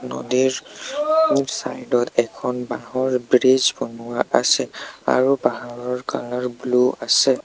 নদীৰ চাইড ত এখন বাঁহৰ ব্ৰিজ বনোৱা আছে আৰু বাঁহৰ ব্লু আছে।